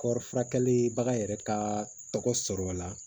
Kɔɔri furakɛli bagan yɛrɛ ka tɔgɔ sɔrɔ la